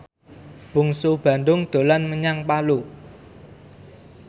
Bungsu Bandung dolan menyang Palu